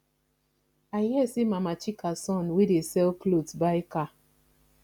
i hear say mama chika son wey dey sell cloth buy car